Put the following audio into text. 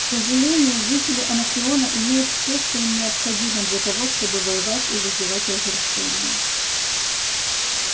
к сожалению жители анакреона имеют все что им необходимо для того чтобы воевать и вызывать разрушения